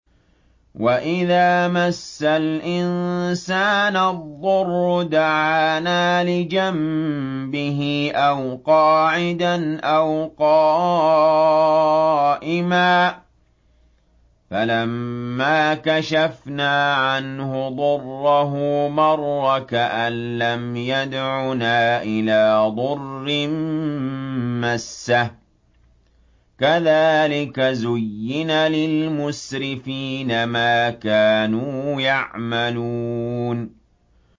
وَإِذَا مَسَّ الْإِنسَانَ الضُّرُّ دَعَانَا لِجَنبِهِ أَوْ قَاعِدًا أَوْ قَائِمًا فَلَمَّا كَشَفْنَا عَنْهُ ضُرَّهُ مَرَّ كَأَن لَّمْ يَدْعُنَا إِلَىٰ ضُرٍّ مَّسَّهُ ۚ كَذَٰلِكَ زُيِّنَ لِلْمُسْرِفِينَ مَا كَانُوا يَعْمَلُونَ